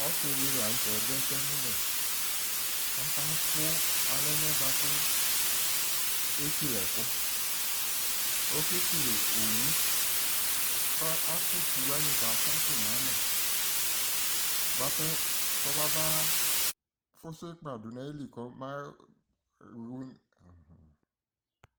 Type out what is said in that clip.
Ɔsɩ dɩ la n'tɛ dʋ ɛsɛmʋbɛ, ɔkadʋ alɛna yɛ bʋa kʋ ekele ɛkʋ Okekele owu kafʋa utuwanɩ katsatʋ n'alɛ bʋapɛ kɔmaba fʋsʋ ɩkpa dʋ n'ayili kɔma